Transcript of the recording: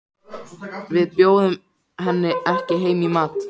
Við bjóðum henni ekki heim í mat.